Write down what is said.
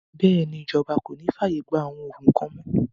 Bẹ́ẹ̀ni, Ìjọba kòní fi ààyè gbà àwọn òògùn kan mọ́